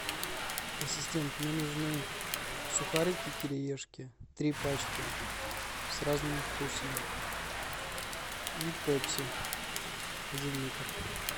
ассистент мне нужны сухарики кириешки три пачки с разными вкусами и пепси один литр